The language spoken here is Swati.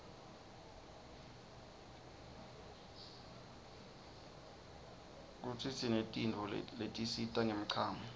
kutsinetnso letisita nqemchamo